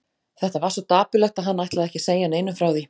Þetta var svo dapurlegt að hann ætlaði ekki að segja neinum frá því.